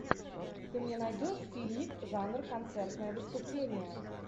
ты мне найдешь фильмик жанр концертное выступление